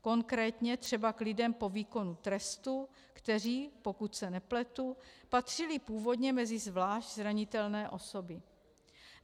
Konkrétně třeba k lidem po výkonu trestu, kteří, pokud se nepletu, patřili původně mezi zvlášť zranitelné osoby.